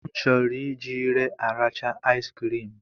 M chọrọ iji ire arachaa asikirim